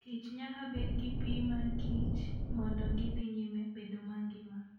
kich nyaka bed gi pi makichr mondo gidhi nyime bedo mangima.